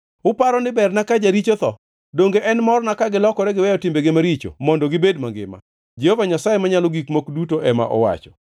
Uparo ni berna ka jaricho otho? Donge en morna ka gilokore giweyo timbegi maricho mondo gibed mangima? Jehova Nyasaye Manyalo Gik Moko Duto ema owacho.